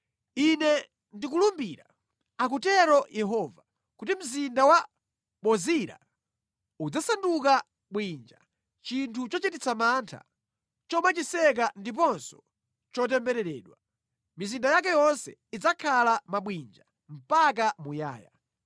Ine ndikulumbira, akutero Yehova, kuti mzinda wa Bozira udzasanduka bwinja, chinthu chochititsa mantha, chomachiseka ndiponso chotembereredwa. Mizinda yake yonse idzakhala mabwinja mpaka muyaya.”